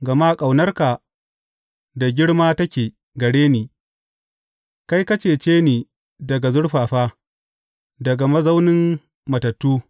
Gama ƙaunarka da girma take gare ni; kai ka cece ni daga zurfafa, daga mazaunin matattu.